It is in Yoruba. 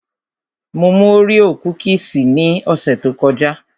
Mo mú Oreo kúkìsì ní ọ̀sẹ̀ tó kọjá